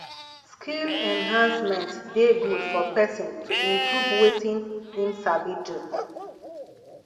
skill enhancement de good for persin to improve wetin im sabi do